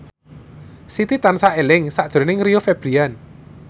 Siti tansah eling sakjroning Rio Febrian